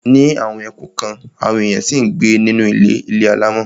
Ní àwọn ẹkùn kan, àwọn èèyàn ṣì ń gbé nínú ilé ilé alámọ̀.